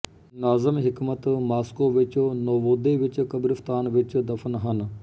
Nazim Hikmet Moscow ਵਿੱਚ Novodevichy ਕਬਰਿਸਤਾਨ ਵਿੱਚ ਦਫ਼ਨ ਹਨ